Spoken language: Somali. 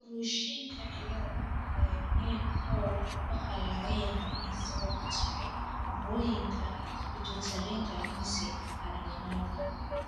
Crushingka ciladha ee MEN kow waxa laga yaabaa inay sabab u tahay burooyinka pitutariga mise adrenalka.